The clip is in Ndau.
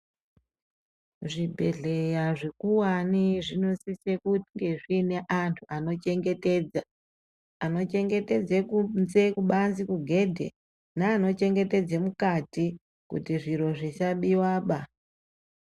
Zvibhedhleya zvikuwane zvinosise kunge zvine anhu anochengetedza anochengetedze kunze kubanze kugedhe naanochengetedze mukati kuti zviro zvisabiwaba.